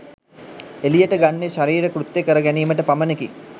එළියට ගන්නේ ශරීර කෘත්‍යයකර ගැනීමට පමණකි.